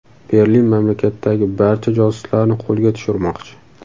Berlin mamlakatdagi barcha josuslarni qo‘lga tushirmoqchi.